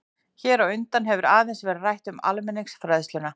Hér á undan hefur aðeins verið rætt um almenningsfræðsluna.